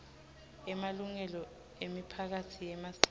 emalungelo emiphakatsi yemasiko